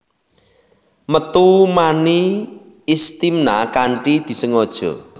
Metu mani Istimna kanthi disengaja